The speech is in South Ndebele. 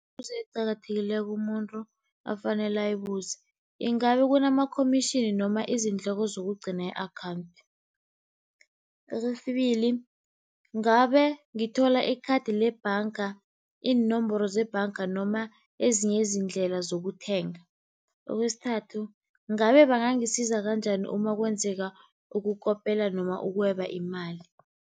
eqakathekileko umuntu afanele ayibuze, ingabe kunama-commission noma izindleko zokugcina i-akhawunthi? Kwesibili, ngabe ngithola ikhathi lebhanga, iinomboro zebhanga noma ezinye izindlela zokuthenga? Kwesithathu, ngabe bangangisiza kanjani uma kwenzeka ukukopela noma ukweba imali?